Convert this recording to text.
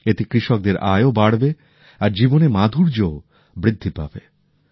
এতে কৃষকদের আয় ও বাড়বে আর জীবনের মাধুর্যও বৃদ্ধি পাবে